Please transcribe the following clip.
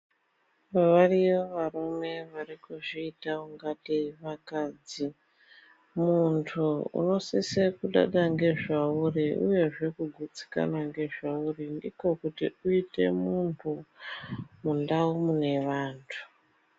Variyo varume varikuzviita ungatei vakadzi, muntu unosise kudada ngezvauri uyezve kugutsikana ngezvauri ndikokuti uite muntu mundau mune vantu.